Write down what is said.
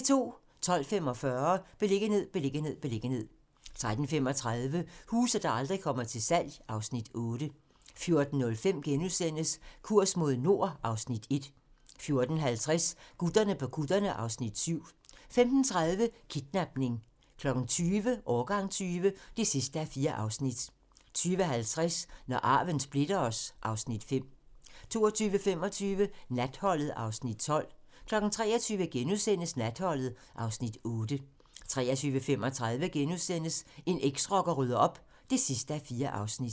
12:45: Beliggenhed, beliggenhed, beliggenhed 13:35: Huse, der aldrig kommer til salg (Afs. 8) 14:05: Kurs mod nord (Afs. 1)* 14:50: Gutterne på kutterne (Afs. 7) 15:30: Kidnapning 20:00: Årgang 20 (4:4) 20:50: Når arven splitter os (Afs. 5) 22:25: Natholdet (Afs. 12) 23:00: Natholdet (Afs. 8)* 23:35: En eksrocker rydder op (4:4)*